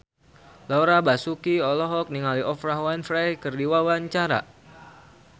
Laura Basuki olohok ningali Oprah Winfrey keur diwawancara